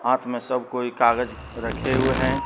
हाथ में सब कोई कागज रखे हुए हैं।